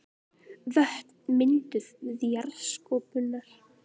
Vötn mynduð við jarðskorpuhreyfingar.